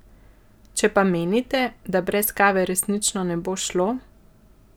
Če pa menite, da brez kave resnično ne bo šlo ...